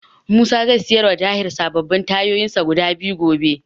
Musa zai siyarwa ta Tahir sababbin tayoyinsa guda biyu gobe.